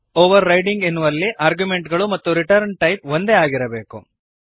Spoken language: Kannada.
ಓವರ್ರೈಡಿಂಗ್ ಎನ್ನುವುದರಲ್ಲಿ ಆರ್ಗ್ಯುಮೆಂಟ್ಗಳು ಮತ್ತು ರಿಟರ್ನ್ ಟೈಪ್ ಒಂದೇ ಆಗಿರಬೇಕು